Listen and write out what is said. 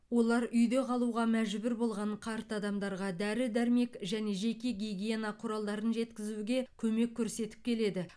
олар үйде қалуға мәжбүр болған қарт адамдарға дәрі дәрмек және жеке гигиена құралдарын жеткізуге көмек көрсетіп келеді